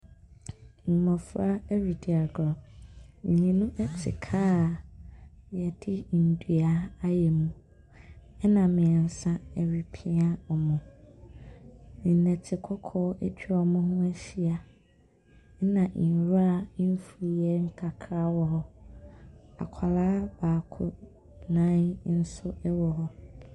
Mmɔfra ɛre di agorɔ Mmienu ɛte kaa a yɛde ndua ayɛ mu. Ɛna mmiensa ɛte pia ɔmo. Nnɔte kɔkɔɔ atwa ɔmo ho ahyia ɛna nwura mfuyɛ kakra wɔ hɔ. Akɔlaa baako nan nso ɛwɔ hɔ.